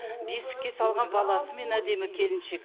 бесікке салған баласымен әдемі келіншек